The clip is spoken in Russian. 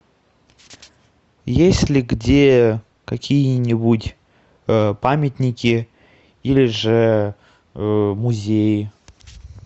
есть ли где какие нибудь памятники или же музеи